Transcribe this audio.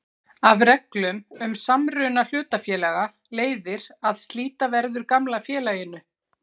Af reglum um samruna hlutafélaga leiðir að slíta verður gamla félaginu.